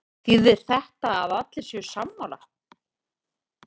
Þýðir þetta að allir séu sammála?